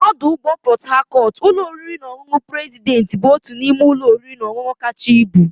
N'ọdụ ụgbọ Port Harcourt, ụlọ oriri na ọṅụṅụ president bụ otu n'ime ụlọ oriri na ọṅụṅụ kacha ibu.